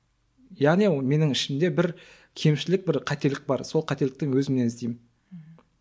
яғни менің ішімде бір кемшілік бір қателік бар сол қателікті өзімнен іздеймін мхм